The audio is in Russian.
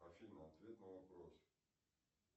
афина ответь на вопрос